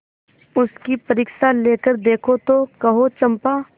उसकी परीक्षा लेकर देखो तो कहो चंपा